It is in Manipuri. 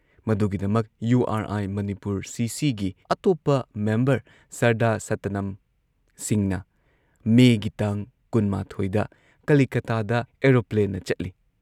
ꯃꯗꯨꯒꯤꯗꯃꯛ ꯌꯨ ꯑꯥꯔ ꯑꯥꯏ ꯃꯅꯤꯄꯨꯔ ꯁꯤꯁꯤꯒꯤ ꯑꯇꯣꯞꯄ ꯃꯦꯝꯕꯔ ꯁꯔꯗꯥꯔ ꯁꯇꯅꯝ ꯁꯤꯡꯍꯅ ꯃꯦꯒꯤ ꯇꯥꯡ ꯀꯨꯟꯃꯥꯊꯣꯏꯗ ꯀꯂꯤꯀꯇꯥꯗ ꯑꯦꯔꯣꯄ꯭ꯂꯦꯟꯅ ꯆꯠꯂꯤ꯫